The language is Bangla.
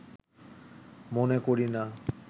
মনে করিনা